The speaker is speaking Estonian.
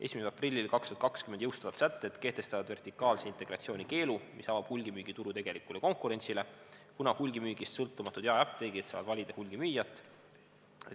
1.04.2020 jõustuvad sätted kehtestavad vertikaalse integratsiooni keelu, mis avab hulgimüügituru tegelikule konkurentsile, kuna hulgimüügist sõltumatud jaeapteegid saavad valida hulgimüüjat.